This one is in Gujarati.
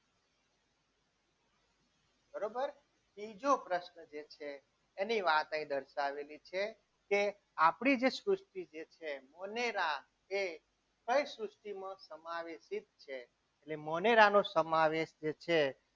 બરોબર ત્રીજો પ્રશ્ન જે છે એની વાત અહીં દર્શાવેલી છે કે આપણે જે સૃષ્ટિ છે એ કઈ સૃષ્ટિમાં એટલે મોનેરાનું જે સમાવેશ છે.